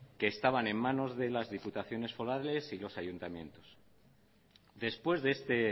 que estaban en manos de las diputaciones forales y los ayuntamientos después de este